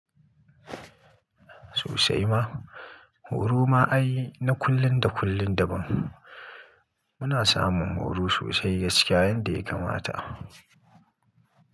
Sosai ma. Huru ma ai na kullun da kullun da ban. Muna samun horo sosai gaskiya yanda ya kamata.